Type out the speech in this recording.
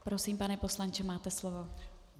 Prosím, pane poslanče, máte slovo.